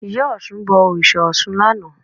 Ìyá Ọ̀ṣun bọ òrìṣà Ọ̀ṣun lánàá